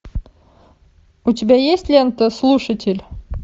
у тебя есть лента слушатель